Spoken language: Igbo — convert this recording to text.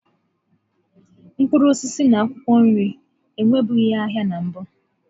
Mkpụrụ osisi na akwụkwọ nri enwebughị ahịa na mbụ.